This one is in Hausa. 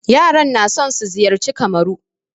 Yaran na son su ziyarci Kamaru.